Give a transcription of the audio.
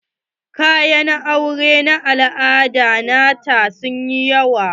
Kayayaki na auren al'ada nata sun yi yawa.